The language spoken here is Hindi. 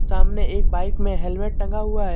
सामने एक बाइक में हेलमेट टंगा हुआ है।